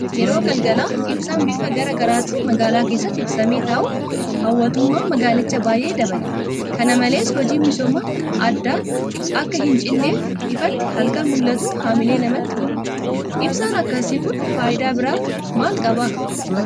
Yeroo galgalaa ibsaan bifa garaa garaatiin magaalaa keessatti ibsamee taa'u hawwattumaa magaalichaa baay'ee dabala. Kana malees hojiin misoomaa addaan akka hincinneef ifti halkan mul'atu haamilee namatti hora. Ibsaan akkasii kun faayidaa biraa maal qaba?